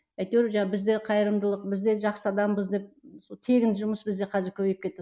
әйтеуір біз де қайырымдылық біз де жақсы адамбыз деп сол тегін жұмыс бізде қазір көбейіп кетті